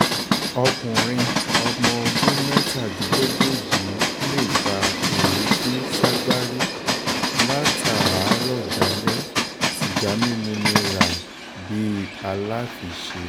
ọkùnrin ọ̀mọ̀ọ́dún mẹ́tàdínlógún yìí lè fa èéfín ságbárí látààárọ̀ dalẹ̀ sìgá mímu ní ràì bíi aláfiṣe